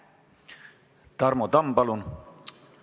Tarmo Tamm, palun!